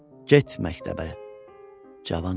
Get məktəbə cavanım.